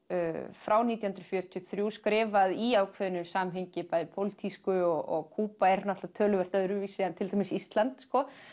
frá nítján hundruð fjörutíu og þrjú skrifað í ákveðnu samhengi bæði pólitísku og Kúba er náttúrulega töluvert öðruvísi en til dæmis Ísland